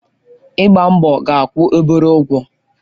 Ịgba mbọ ga-akwụ obere ụgwọ